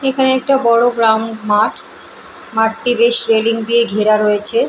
এখানে একটা বড় গ্রাউন্ড মাঠ মাঠটি বেশ রেলিং দিয়ে ঘেরা রয়েছে।